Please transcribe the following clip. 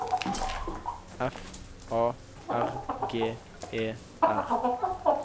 F A R G E R